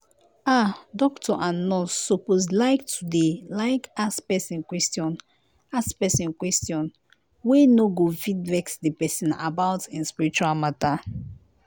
ah doctor and nurse suppose liketo dey like ask pesin question ask pesin question wey no go fit vex di pesin about em spiritual matter.